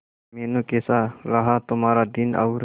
मीनू कैसा रहा तुम्हारा दिन और